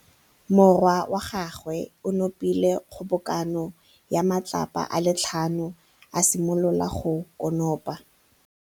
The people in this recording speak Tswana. Morwa wa gagwe o nopile kgobokanô ya matlapa a le tlhano, a simolola go konopa.